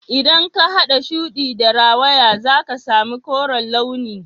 idan ka hada shudi da rawaya zaka sami koren launi